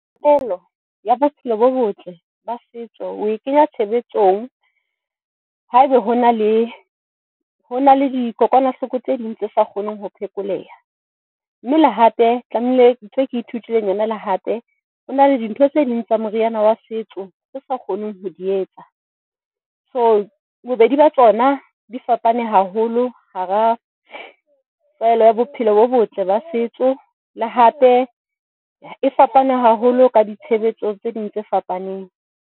Pholo ya bophelo bo botle ba setso o e kenya tshebetsong haeba ho na le ho na le dikokwanahloko tse ding tse sa kgoneng ho phekoleha. Mme le hape tlameile ntho eo ke ithutileng le yona le hape. Hona le dintho tse ding tsa moriana wa setso tse sa kgoneng ho di etsa. So, bobedi ba tsona di fapane haholo hara taelo ya bophelo bo botle ba setso, le hape e fapane haholo ka ditshebetso tse ding tse fapaneng.